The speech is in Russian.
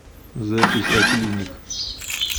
запись а клиник